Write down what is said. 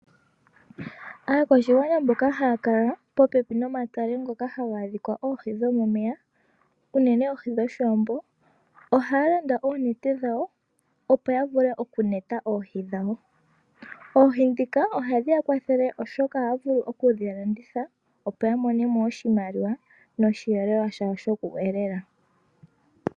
Aakwashigwana mboka haya kala popepi nomatale ngoka haga adhika oohi dho momeya uunene oohi dhoshiwambo, ohaya landa oonete dhawo, opo ya vule oku yuula oohi dhawo. Oohi ndhika ohadhi ya kwathele, oshoka ohaya vulu okudhi landitha, opo ya mone mo oshimaliwa nosheelelwa shawo shoku elela.